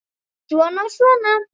Svona og svona.